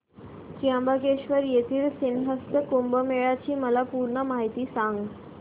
त्र्यंबकेश्वर येथील सिंहस्थ कुंभमेळा ची मला पूर्ण माहिती सांग